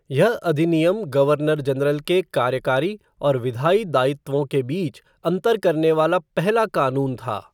यह अधिनियम governor general के कार्यकारी और विधायी दायित्वों के बीच अंतर करने वाला पहला कानून था।